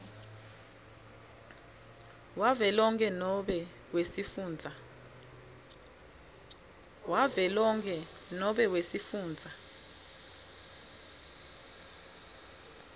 wavelonkhe nobe wesifundza